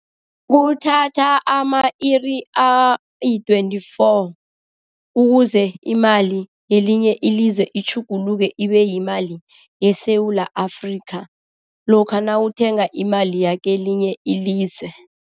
Kuthatha ama-iri ayi-twenty-four ukuze imali yelinye ilizwe itjhuguluke ibeyimali yeSewula Afrika, lokha nawuthenga imali yakelinye ilizwe.